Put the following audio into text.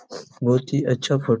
बहुत ही अच्छा फोट--